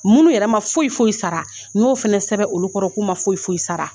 Minnu yɛrɛ ma foyi foyi sara n y'o fana sɛbɛn olu kɔrɔ k'u ma foyi foyi sara